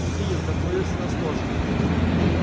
михаил как выяснилось тоже